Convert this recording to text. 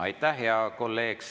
Aitäh, hea kolleeg!